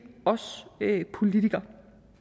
os politikere